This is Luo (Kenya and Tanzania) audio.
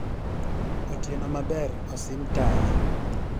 otieno maber osim taya